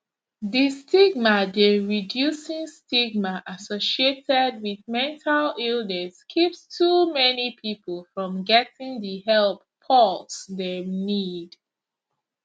di stigma dey reducing stigma associated wit mental illness keeps too many pipo from getting di help pause dem need